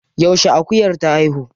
Yaushe akuyar ta haihu?